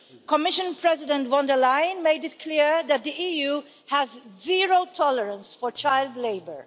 Commission President von der Leyen made it clear that the EU has zero tolerance for child labour.